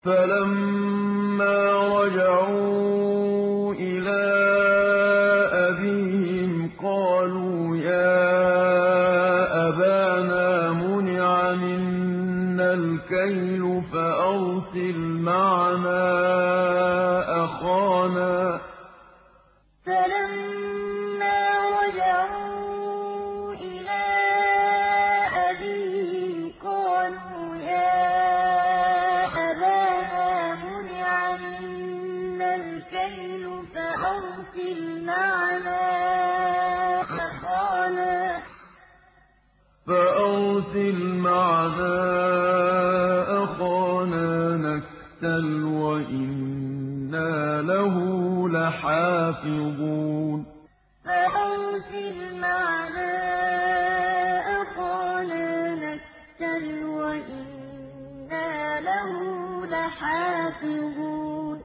فَلَمَّا رَجَعُوا إِلَىٰ أَبِيهِمْ قَالُوا يَا أَبَانَا مُنِعَ مِنَّا الْكَيْلُ فَأَرْسِلْ مَعَنَا أَخَانَا نَكْتَلْ وَإِنَّا لَهُ لَحَافِظُونَ فَلَمَّا رَجَعُوا إِلَىٰ أَبِيهِمْ قَالُوا يَا أَبَانَا مُنِعَ مِنَّا الْكَيْلُ فَأَرْسِلْ مَعَنَا أَخَانَا نَكْتَلْ وَإِنَّا لَهُ لَحَافِظُونَ